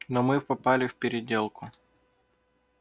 но мы попали в переделку